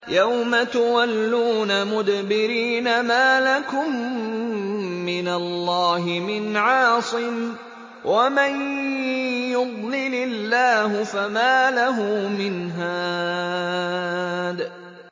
يَوْمَ تُوَلُّونَ مُدْبِرِينَ مَا لَكُم مِّنَ اللَّهِ مِنْ عَاصِمٍ ۗ وَمَن يُضْلِلِ اللَّهُ فَمَا لَهُ مِنْ هَادٍ